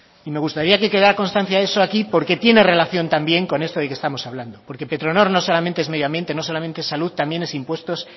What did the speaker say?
y me gustaría que quedara constancia de eso aquí porque tiene relación también con esto de que estamos hablando porque petronor no es solamente es medioambiente no solamente es salud también es impuestos